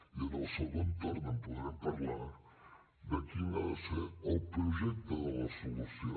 i en el segon torn en podrem parlar de quin ha de ser el projecte de la solució